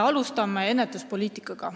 Alustan ennetuspoliitikast.